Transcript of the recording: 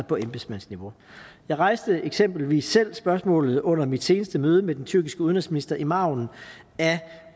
på embedsmandsniveau jeg rejste eksempelvis selv spørgsmålet under mit seneste møde med den tyrkiske udenrigsminister i margen af